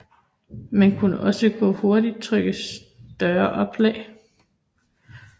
Man kunne også hurtigt trykke større oplag